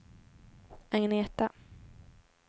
Agneta